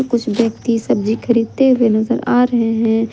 कुछ व्यक्ति सब्जी खरीदते हुए नजर आ रहे हैं।